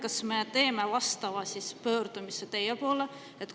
Kas me peaksime tegema vastava pöördumise teie poole?